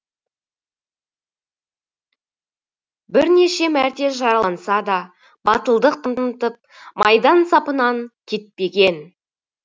бірнеше мәрте жараланса да батылдық танытып майдан сапынан кетпеген